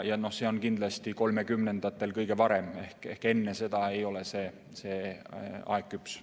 Aga see juhtub kindlasti kõige varem 2030‑ndatel, enne seda ei ole aeg selleks küps.